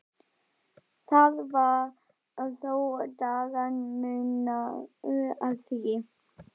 Það var þó dagamunur að því.